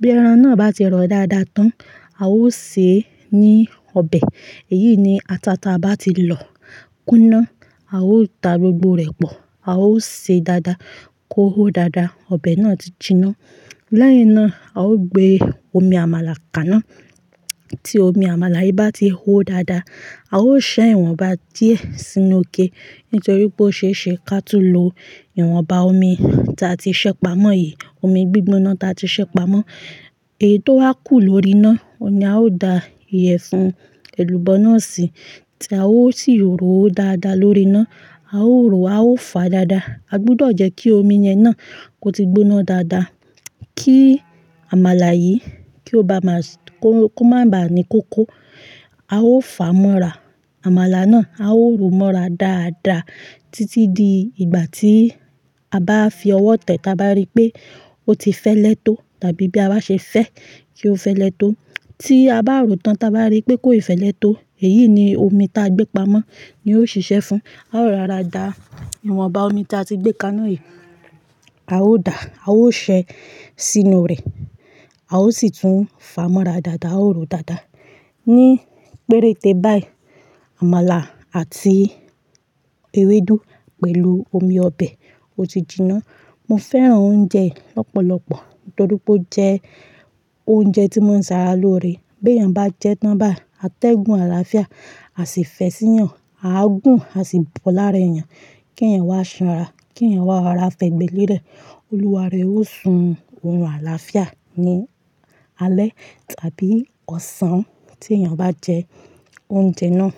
Bí ẹran náà bá ti rọ̀ dáadáa tán, a ó sè é ní ọbẹ̀. Èyí ni, àtà tí a bá ti lọ́ kúná, a ó da gbogbo rẹ̀ pọ̀, a ó sè é dáadáa kó hó dáadáa, ọbẹ̀ náà ti jiná. Lẹ́yìn náà, a ó gbé omi àmàlà kaná. Tí omi àmàlà yìí bá ti hó dáadáa, a ó ṣẹ́ ìwọ̀nba díẹ̀ sínú ike nítorí pé ó ṣe é ṣe kí a tún lo ìwọ̀nba omi ta ti ṣẹ́pà mọ́ yìí, omi gbígbóná ta ti ṣẹ́pà mọ́. Èyí tó wá kù lórí iná oni a ó da ìyẹ̀fun èlùbọ́ náà sí. Tí a ó sì òróó dáadáa lórí iná. A ó òróó, a ó fà á dáadáa. A gbúdọ̀ jẹ́ kí omi yẹn náà kó ti gbóná dáadáa kí àmàlà yìí kí ó bá máa, kó, kó má bà á ní kókó. A ó fà á mọ́ra, àmàlà náà. A ó òróò mọ́ra dáadáa títí di ìgbà tí a bá fi ọwọ́ tẹ́ táa bá rí pé ó ti fẹ́lẹ́ tó tàbí bí a bá ṣe fẹ́ kí ó fẹ́lẹ́ tó. Tí a bá ròó tán táa bá rí pé kó ì fẹ́lẹ́ tó, èyí ni omi ta gbépa mọ́ ni yóò ṣiṣẹ́ fún. A ó rọra dà á, ìwọ̀nba omi tí a ti gbé kaná yìí, a ó dà á, a ó ṣẹ́ sínú rẹ̀. A ó sì tún fà á mọ́ra dáadáa, a ó ròó dáadáa. Ní péréte báyìí, àmàlà àti ewédú pẹ̀lú omi ọbẹ̀ ó ti jiná. Mo fẹ́ràn oúnjẹ yìí lọ́pọ̀lọ́pọ̀ nítorí pé ó jẹ́ oúnjẹ tí mo ń ṣàrà lóore. Bí èèyàn bá jẹ́ tán bá, a tẹ́gun àlàáfíà, a sì fẹ́ sí ìyàn, a gùn, a sì bọ̀ lára èèyàn kí ẹ̀yàn wá ṣànra, kí ẹ̀yàn wá ra fẹ̀gbẹ́ lérẹ̀. Olúwa rẹ ó sun orun àlàáfíà ní alẹ́ tàbí ọ̀sán tí èèyàn bá jẹ oúnjẹ náà.